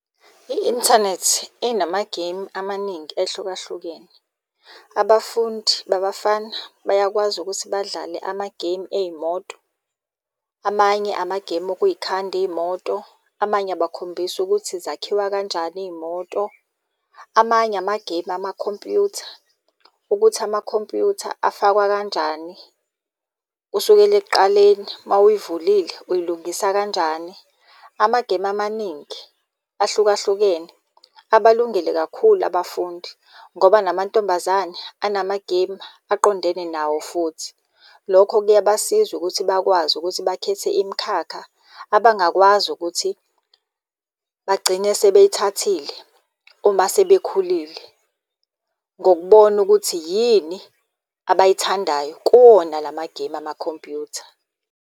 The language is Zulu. I-inthanethi inamagemu amaningi ehlukahlukene. Abafundi babafana bayakwazi ukuthi badlale amagemu ey'moto. Amanye amagemu okuyikhanda iy'moto, amanye abakhombisa ukuthi zakhiwa kanjani iy'moto. Amanye amagemu amakhompuyutha, ukuthi amakhompuyutha afakwa kanjani kusukela ekuqaleni mawuyivulile uyilungisa kanjani. Amagemu amaningi ahlukahlukene abalungele kakhulu abafundi, ngoba namantombazane anamagemu aqondene nawo futhi. Lokho kuyabasiza ukuthi bakwazi ukuthi bakhethe imikhakha abangakwazi ukuthi bagcine sebeyithathile uma sebekhulile ngokubona ukuthi yini abayithandayo kuwona lamagemu amakhompuyutha.